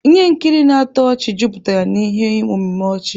Ihe nkiri na-atọ ọchị juputara na ihe omume ọchị.